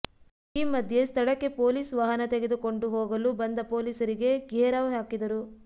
ಈ ಮಧ್ಯೆ ಸ್ಥಳಕ್ಕೆ ಪೊಲೀಸ್ ವಾಹನ ತೆಗೆದುಕೊಂಡು ಹೋಗಲು ಬಂದ ಪೊಲೀಸರಿಗೆ ಘೇರಾವ್ ಹಾಕಿದರು